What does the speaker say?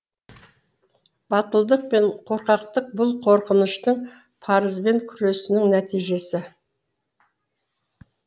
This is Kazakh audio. батылдық пен қорқақтық бұл қорқыныштың парызбен күресінің нәтижесі